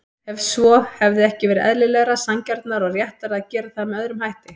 Ef svo, hefði ekki verið eðlilegra, sanngjarnara og réttara að gera það með öðrum hætti?